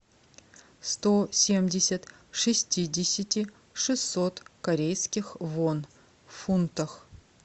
сто семьдесят шестидесяти шестьсот корейских вон в фунтах